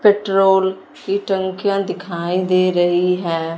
Petrol की टंकियां दिखाईं दे रहीं हैं।